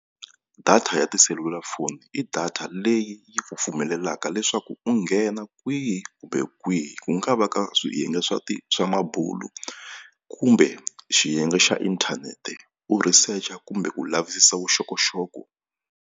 Data ya tiselulafoni i data leyi yi ku pfumelelaka leswaku u nghena kwihi kumbe kwihi ku nga va ka swiyenge swa swa mabulu kumbe xiyenge xa inthanete u researcher kumbe ku lavisisa vuxokoxoko.